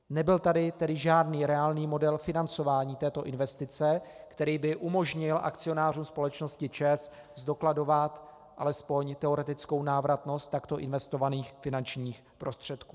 Nebyl tady tedy žádný reálný model financování této investice, který by umožnil akcionářům společnosti ČEZ zdokladovat alespoň teoretickou návratnost takto investovaných finančních prostředků.